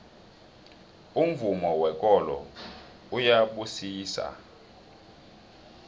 umvumo wekolo uyabusisana